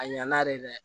A ɲana dɛ